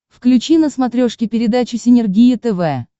включи на смотрешке передачу синергия тв